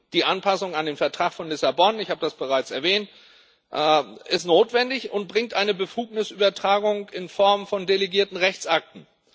Die Anpassung an den Vertrag von Lissabon ich habe das bereits erwähnt ist notwendig und bringt eine Befugnisübertragung in Form von delegierten Rechtsakten.